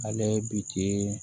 Ale bi ten